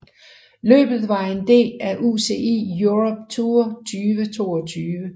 Løbet var en del af UCI Europe Tour 2022